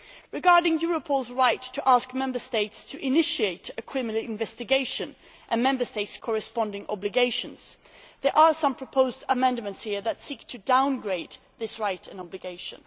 Regarding Europol's right to ask Member States to initiate a criminal investigation and Member States' corresponding obligations, there are some proposed amendments here that seek to downgrade this right and obligation.